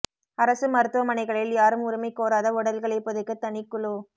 அரசு மருத்துவமனைகளில் யாரும் உரிமை கோராத உடல்களை புதைக்க தனி குழு